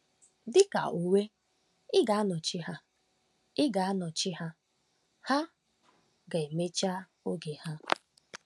Dị ka uwe, ị ga-anọchi ha, ị ga-anọchi ha, ha ga-emecha oge ha.